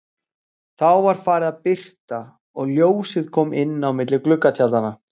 Þá var farið að birta og ljósið kom inn á milli gluggatjaldanna.